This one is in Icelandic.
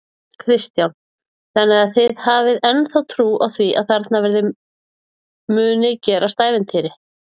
Kristján: Þannig að þið hafið ennþá trú á því að þarna verði muni gerast ævintýr?